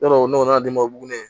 Yɔrɔ o nɔnɔ denbaw b'o ne